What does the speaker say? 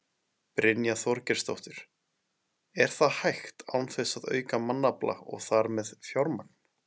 Brynja Þorgeirsdóttir: Er það hægt án þess að auka mannafla og þar með fjármagn?